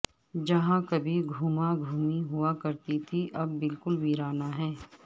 جہاں کبھی گہما گہمی ہوا کرتی تھی اب بالکل ویرانہ ہے